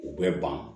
U bɛ ban